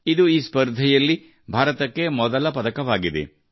ಇದು ಈ ಸ್ಪರ್ಧೆಯಲ್ಲಿ ಭಾರತಕ್ಕೆ ಮೊದಲ ಪದಕವಾಗಿದೆ